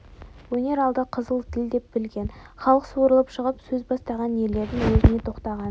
өнер алды қызыл тіл деп білген халық суырылып шығып сөз бастаған ерлердің уәжіне тоқтаған